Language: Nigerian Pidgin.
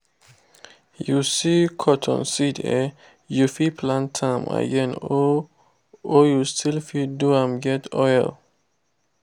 you see cotton seed eh you fit plant am again or you or you still fit do am get oil.